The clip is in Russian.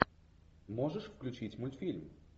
можешь включить мультфильм